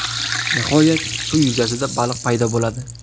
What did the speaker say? Nihoyat, suv yuzasida baliq paydo bo‘ladi.